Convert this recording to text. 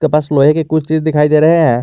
बस लोहे के कुछ चीज दिखाई दे रहे हैं।